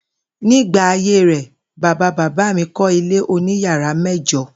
Nígbà ayé rè̩, bàbá bàbá mi kó̩ ilé oníyàrá mé̩jo̩